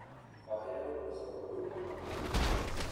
ohero uso oduma ma obul